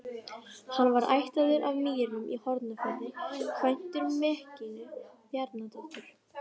Hann var ættaður af Mýrum í Hornafirði, kvæntur Mekkínu Bjarnadóttur.